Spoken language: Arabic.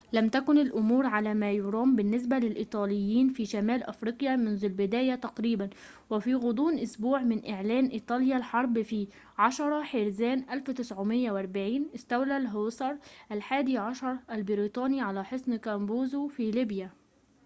لم تكن الأمور على ما يرام بالنسبة للإيطاليين في شمال أفريقيا منذ البداية تقريبا وفي غضون أسبوع من إعلان إيطاليا الحرب في 10 حزيران 1940 استولى الهوسار الحادي عشر البريطاني على حصن كابوزو في ليبيا